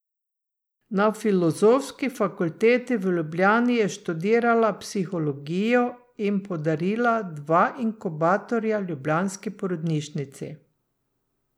Na Filozofski fakulteti v Ljubljani je študirala psihologijo in podarila dva inkubatorja ljubljanski porodnišnici.